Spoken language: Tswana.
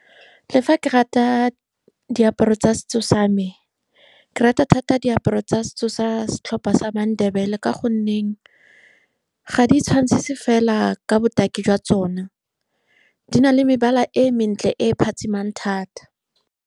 Le fa ke rata diaparo tsa setso same, ke rata thata diaparo tsa setso sa setlhopha sa maNdebele ka gonne ga di itshwantsisi fela ka botaki jwa tsona, di na le mebala e mentle e phatsimang thata.